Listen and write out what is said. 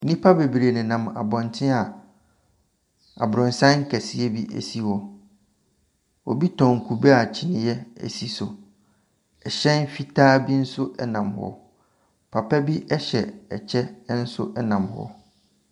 Nnipa bebree nenam abɔnten a abrɔsan kɛseɛ bi si hɔ. Obi tɔn kube a kyiniiɛ si so. Ɛhyɛn fitaa bi nso nam hɔ. Papa bi nso hyɛ kyɛ nam hɔ.